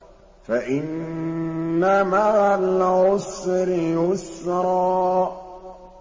فَإِنَّ مَعَ الْعُسْرِ يُسْرًا